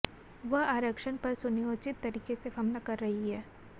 वह आरक्षण पर सुनियोजित तरीके से हमला कर रही है